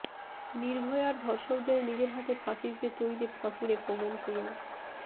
নির্ভয়ার ধর্ষকদের নিজের হাতে ফাঁসি দিতে তৈরি ফাঁসুড়ে পবন কুমার